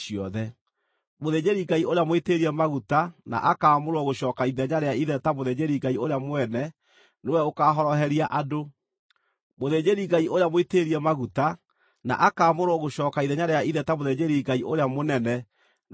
Mũthĩnjĩri-Ngai ũrĩa mũitĩrĩrie maguta na akaamũrwo gũcooka ithenya rĩa ithe ta mũthĩnjĩri-Ngai ũrĩa mũnene nĩwe ũkaahoroheria andũ. Nĩakehumbaga nguo iria nyamũre cia gatani